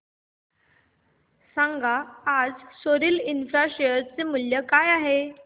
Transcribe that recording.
सांगा आज सोरिल इंफ्रा शेअर चे मूल्य काय आहे